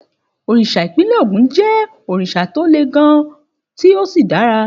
Òrìṣà ìpínlẹ̀ Ògùn jẹ́ òrìṣà tó le gan-an tí ó sì dára.